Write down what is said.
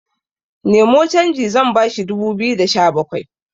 Nemo canji zan bashi dubu biyu da Sha bakwai